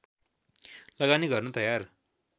लगानी गर्न तयार